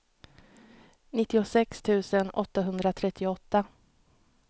nittiosex tusen åttahundratrettioåtta